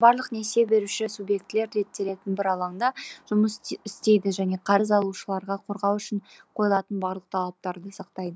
осылайша барлық несие беруші субъектілер реттелетін бір алаңда жұмыс істейді және қарыз алушыларды қорғау үшін қойылатын барлық талаптарды сақтайды